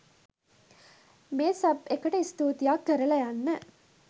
මේ සබ් එකට ස්තූතියක් කරලා යන්න